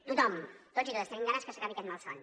tothom tots i totes tenim ganes que s’acabi aquest malson